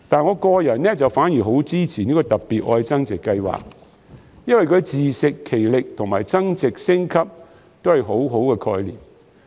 我個人反而很支持"特別.愛增值"計劃，因為自食其力及增值升級都是很好的概念。